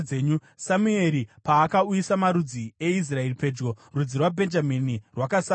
Samueri paakauyisa marudzi eIsraeri pedyo, rudzi rwaBhenjamini rwakasarudzwa.